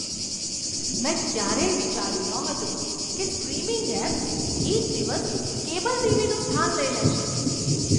મેં ક્યારેય વિચાર્યું નહોતું કે સ્ટ્રીમિંગ એપ્સ એક દિવસ કેબલ ટીવીનું સ્થાન લઈ લેશે.